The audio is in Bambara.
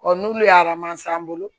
n'olu ye bolo